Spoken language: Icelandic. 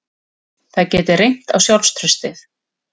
Það geti reynt á sjálfstraustið